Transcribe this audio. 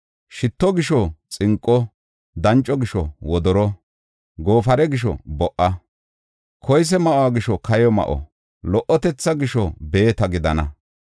Shitto gisho xinqo, danco gisho wodoro, goofare gisho bo77a, koyse ma7o gisho kayo ma7o, lo77otetha gisho beeta gidana.